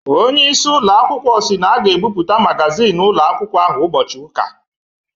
Ọnyeisi ụloakwukwọ si na a ga-ebuputa magazin ụloakwkwo ahụ ubochi ụka